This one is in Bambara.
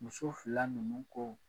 Muso fila ninnu ko